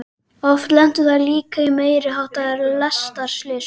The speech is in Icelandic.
Oft lentu þær líka í meiri háttar lestarslysum.